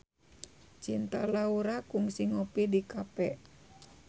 Cinta Laura kungsi ngopi di cafe